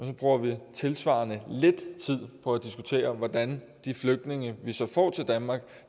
så bruger vi tilsvarende lidt tid på at diskutere hvordan de flygtninge vi så får til danmark